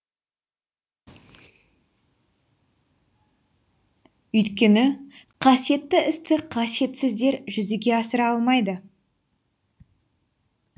өйткені қасиетті істі қасиетсіздер жүзеге асыра алмайды